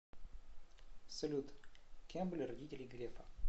салют кем были родители грефа